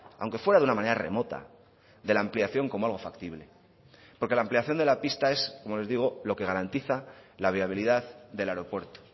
aunque fuera de una manera remota de la ampliación como algo factible porque la ampliación de la pista es como les digo lo que garantiza la viabilidad del aeropuerto